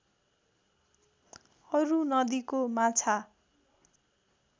अरू नदीको माछा